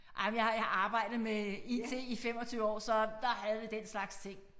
Ej men jeg har jeg har jeg har arbejdet med it i 25 år så der havde vi den slags ting